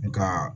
Nga